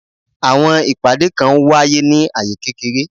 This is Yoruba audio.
Àwọn ìpàdé kan n wáyé ní aye kékeré